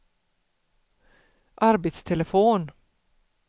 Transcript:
arbetstelefon